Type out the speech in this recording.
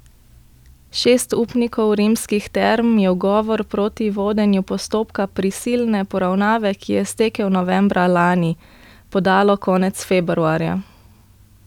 Šest upnikov Rimskih term je ugovor proti vodenju postopka prisilne poravnave, ki je stekel novembra lani, podalo konec februarja.